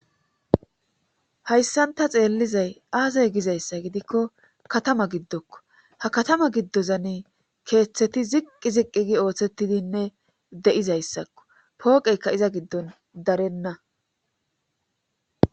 Hayssanta xeellizay aasay gizayssa gidikko katama giddokko ha katama giddozane keeththeti ziqqi ziqqi gi ooththettidinne de'izayssakko pooqeyka iza giddon darenna.